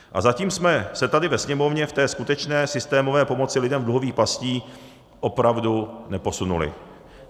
A zatím jsme se tady ve Sněmovně v té skutečné systémové pomoci lidem v dluhových pastech opravdu neposunuli.